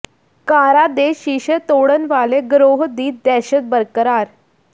ਕਾਰਾਂ ਦੇ ਸ਼ੀਸ਼ੇ ਤੋੜਨ ਵਾਲੇ ਗਰੋਹ ਦੀ ਦਹਿਸ਼ਤ ਬਰਕਰਾਰ